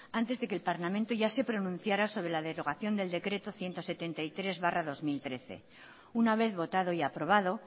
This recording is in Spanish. antes de que el parlamento ya se pronunciara sobre la derogación del decreto ciento setenta y tres barra dos mil trece una vez votado y aprobado